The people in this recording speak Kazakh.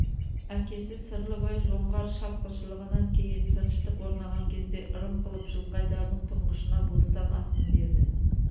әкесі сырлыбай жоңғар шапқыншылығынан кейін тыныштық орнаған кезде ырым қылып жылқайдардың тұңғышына бостан атын берді